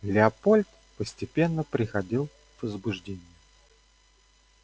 лепольд постепенно приходил в возбуждение